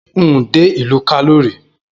N ò dé ìlú Kano rí?